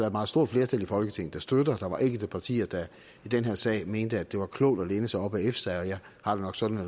et meget stort flertal i folketinget der støtter der var enkelte partier der i den her sag mente at det var klogt at læne sig op ad efsa jeg har det nok sådan at